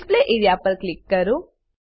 display A R E A પર click કરો